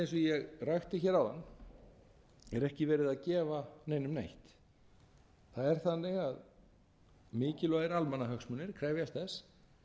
og ég rakti hér áðan er ekki verið að gefa neinum neitt það er þannig að mikilvægir almannahagsmunir krefjast þess